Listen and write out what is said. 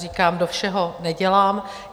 Říkám, do všeho nedělám.